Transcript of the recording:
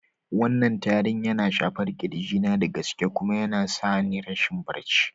Wannan tarin yana shafar kirji na da gaske kuma yana sa ni rashin barci.